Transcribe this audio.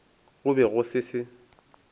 go be go se se